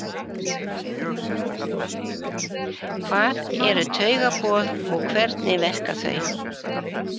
Hvað eru taugaboð og hvernig verka þau?